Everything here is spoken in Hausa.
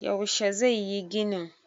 yaushe zai yi ginin?